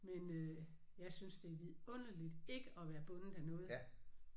Men øh jeg synes det er vidunderligt ikke at være bundet af noget